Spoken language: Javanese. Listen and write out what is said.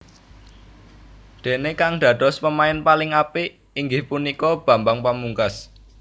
Déné kang dados pemain paling apik inggih punika Bambang Pamungkas